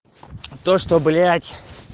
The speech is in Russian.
то что блять